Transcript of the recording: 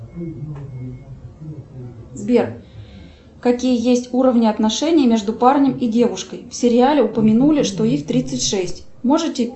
сбер какие есть уровни отношений между парнем и девушкой в сериале упомянули что их тридцать шесть можете